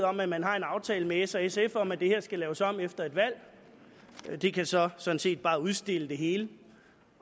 om at man har en aftale med s og sf om at det her skal laves om efter et valg det kan så sådan set bare udstille det hele